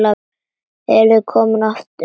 Eruð þið komin aftur?